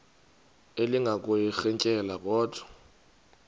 elinga ukuyirintyela kodwa